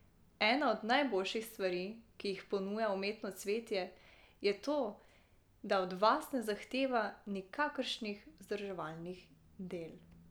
Ena od najboljših stvari, ki jih ponuja umetno cvetje, je to, da od vas ne zahteva nikakršnih vzdrževalnih del.